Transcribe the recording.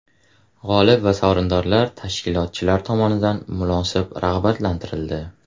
G‘olib va sovrindorlar tashkilotchilar tomonidan munosib rag‘batlantirildi.